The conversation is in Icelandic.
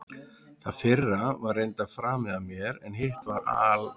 Það fyrra var reyndar framið af mér, en hitt var al